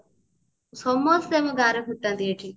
ସମସ୍ତେ ଆମ ଗାଁରେ ଫୁଟାନ୍ତି ଏଠି